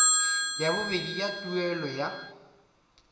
ya bobedi ya tuelo ya